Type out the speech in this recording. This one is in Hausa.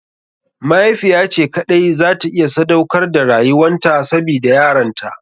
Mahaifiya ce kaɗai za ta iya sadaukar da rayuwan ta sabida yaranta.